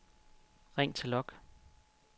ring til log